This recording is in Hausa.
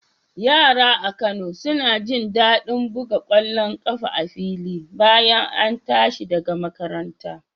Yara a Kano suna jin daɗin buga ƙwallon ƙafa a fili bayan an tashi daga makaranta